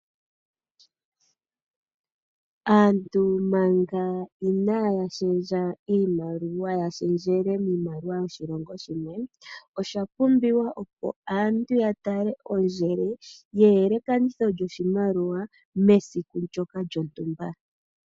Aantu manga inaya shendja iimaliwa, ya shendjele miimaliwa yoshilongo, osha pumbiwa opo aantu ya tale ondjele ye yelekanitho lyoshimaliwa mesiku ndjoka lyontumba.